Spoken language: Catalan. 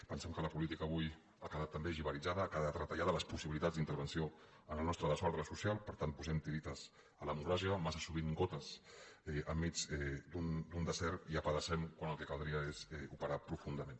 pensem que la política avui ha quedat també jivaritzada ha que·dat retallada les possibilitats d’intervenció en el nos·tre desordre social per tant posem tiretes a democrà·cia massa sovint gotes enmig d’un desert i apedacem quan el que caldria és operar profundament